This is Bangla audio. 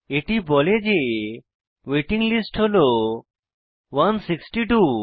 এটি বলে যে ওয়েটিং লিস্ট হল 162